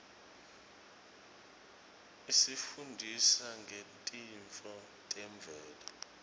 isifundzisa ngetintfo temvelo